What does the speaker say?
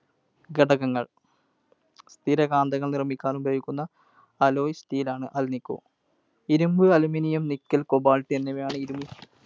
ഘടകങ്ങൾ. സ്ഥിരകാന്തങ്ങൾ നിർമിക്കാൻ ഉപയോഗിക്കുന്ന alloy steel ആണ് Alnico. ഇരുമ്പ്, Aluminum, Nickel, Cobalt എന്നിവയാണ്